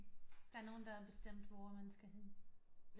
Der er nogen der har bestemt hvor man skal hen